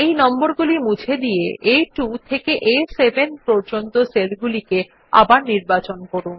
এই নম্বরগুলি মুছে দিয়ে আ2 থেকে আ7 পর্যন্ত সেল গুলি আবার নির্বাচন করুন